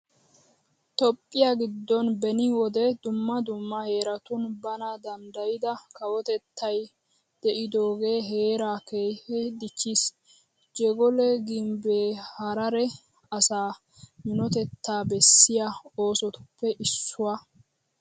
Toophphiya giddon beni wode dumma dumma heeratun bana danddayida kawotettay de'idoogee heeraa keehippe dichchiis. Jegole gimbbee harare asaa minotettaa bessiya oosotuppe issuwa.